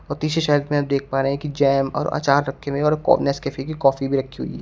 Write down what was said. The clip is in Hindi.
और तीसरे शेल्फ मे आप देख पा रहे हैं कि जैम और आचार रखे हुए हैं और नेसकैफे की कॉफी भी रखी हुई है।